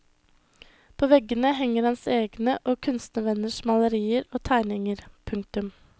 På veggene henger hans egne og og kunstnervenners malerier og tegninger. punktum